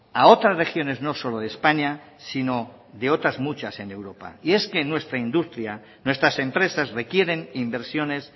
a otras regiones no solo de españa sino de otras muchas en europa y es que nuestra industria nuestras empresas requieren inversiones